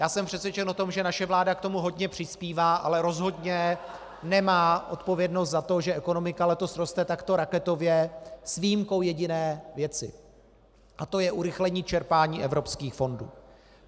Já jsem přesvědčen o tom, že naše vláda k tomu hodně přispívá , ale rozhodně nemá odpovědnost za to, že ekonomika letos roste takto raketově, s výjimkou jediné věci, a to je urychlení čerpání evropských fondů.